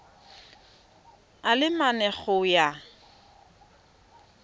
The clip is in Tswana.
a le mane go ya